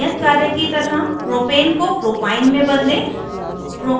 एक नियत कार्य की तरह propane को propyne में बदलें